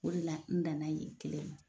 O de la n danna yen kelen ma